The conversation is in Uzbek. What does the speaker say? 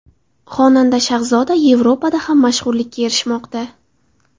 Xonanda Shahzoda Yevropada ham mashhurlikka erishmoqda.